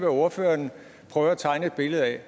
ordføreren prøver at tegne et billede af